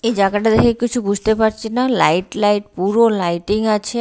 এই জাগাটা দেখে কিছু বুঝতে পারছিনা লাইট লাইট পুরো লাইটিং আছে।